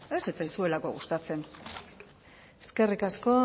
ez zitzaizuelako gustatzen eskerrik asko